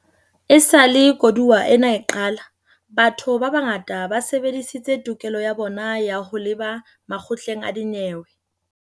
Esale koduwa ena e qala, batho ba bangata ba sebedisitse tokelo ya bona ya ho leba makgotleng a dinyewe.